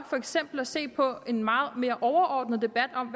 for eksempel at se på en meget mere overordnet debat om